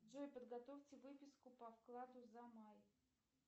джой подготовьте выписку по вкладу за май